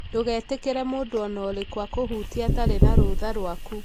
Ndũgetĩkĩre mũndũ o na ũrĩkũ akũhutie atarĩ na rũtha rwaku.